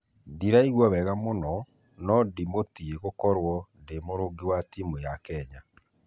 "ndĩraigua wega mũno na ndĩmũtĩe gũkorwo ndimũrũgi wa timu ya kenya.